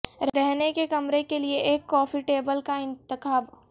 رہنے کے کمرے کے لئے ایک کافی ٹیبل کا انتخاب